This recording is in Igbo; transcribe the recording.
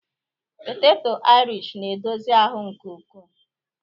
poteto irish na-edozi ahụ nke ukwuu